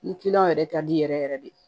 Ni kiliyanw yɛrɛ ka di yɛrɛ yɛrɛ de